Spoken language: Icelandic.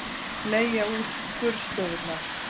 Leigja út skurðstofurnar